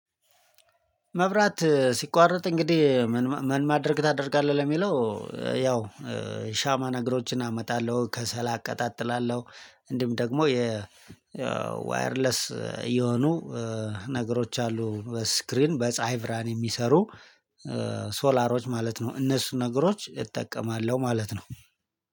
መብራት ሲቋረጥ እንግዲህ ምን ም ማድረግ ታደርጋለህ ለሚለው? ያው ሻማ ነገሮችን አመጣለሁ ከሰልላ አቀጣጥላለሁ እንዲም ደግሞ የ ዋየርለስ የሆኑ ነገሮች አሉ በስክሪን በፀሀይ ብራን የሚሰሩ ሶላሮች ማለት ነው። እነሱ ነገሮች እጠቀማለሁ ማለት ነው።